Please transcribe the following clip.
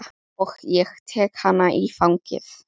Og ég tek hana í fangið.